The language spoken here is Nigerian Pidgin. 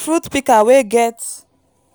fruit pika wey get